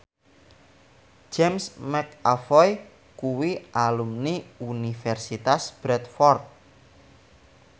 James McAvoy kuwi alumni Universitas Bradford